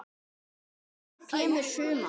Senn kemur sumar.